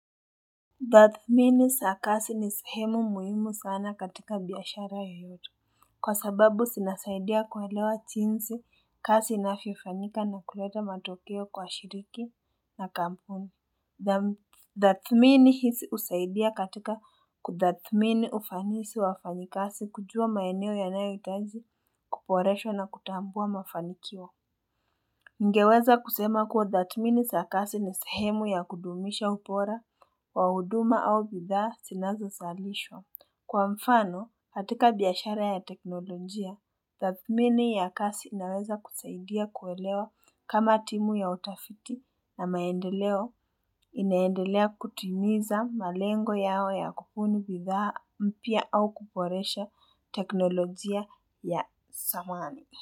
Tathmini za kazi ni sehemu muhimu sana katika biashara yoyote kwa sababu zinasaidia kuelewa jinsi kazi inavyofanyika na kuleta matokeo kwa shirika na kampuni Tathmini hizi husaidia katika kutathmini ufanisi wa wafanyikazi kujua maeneo yanayohitaji kuboreshwa na kutambua mafanikio Ningeweza kusema kuwa tathmini za kazi ni sehemu ya kudumisha ubora, wa huduma au bidhaa zinazo zalishwa. Kwa mfano, katika biashara ya teknolojia, tathmini ya kazi inaweza kusaidia kuelewa kama timu ya utafiti na maendeleo inaendelea kutimiza malengo yao ya kubuni bidhaa mpya au kuboresha teknolojia ya zamani.